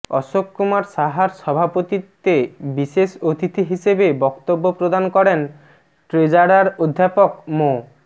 অশোক কুমার সাহার সভাপতিত্বে বিশেষ অতিথি হিসেবে বক্তব্য প্রদান করেন ট্রেজারার অধ্যাপক মো